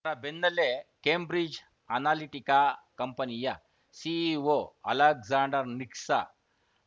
ಅದರ ಬೆನ್ನಲ್ಲೇ Cambridge Analytica ಕಂಪನಿಯ ಸಿಇಒ ಅಲೆಕ್ಸಾಂಡರ್‌ ನಿಕ್ಸ್‌